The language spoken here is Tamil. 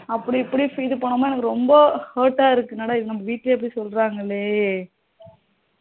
அப்படி இப்படி இது பண்ணும் போது எனக்கு ரொம்ப hurt ஆ இருக்கு என்ன டா இது வீட்டுலே இப்படி சொல்லுறங்களே